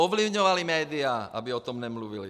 Ovlivňovali média, aby o tom nemluvila.